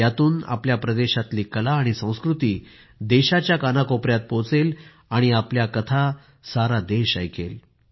यातून आपल्या प्रदेशातली कला आणि संस्कृती देशाच्या कानाकोपऱ्यात पोहचेल आणि आपल्या कहाण्या सारा देश ऐकेल